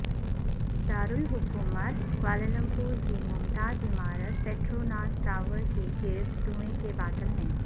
دارالحکومت کوالالمپور کی ممتاز عمارت پٹروناز ٹاورز کے گرد دھوئیں کے بادل ہیں